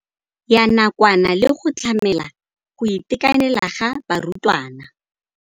Ya nakwana le go tlamela go itekanela ga barutwana.